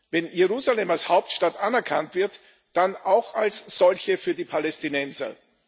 Wenn Jerusalem als Hauptstadt anerkannt wird, dann auch als solche für die Palästinenser.